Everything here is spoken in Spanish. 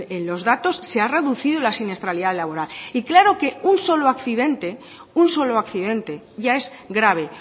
en los datos se ha reducido la siniestralidad laboral y claro que un solo accidente un solo accidente ya es grabe